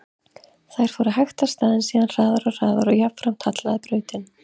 Þær fóru hægt af stað, en síðan hraðar og hraðar og jafnframt hallaði brautin.